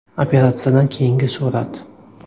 Operatsiyadan keyingi surat.